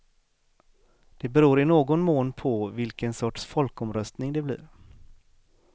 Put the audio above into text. Det beror i någon mån på vilken sorts folkomröstning det blir.